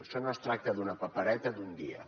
això no es tracta d’una papereta d’un dia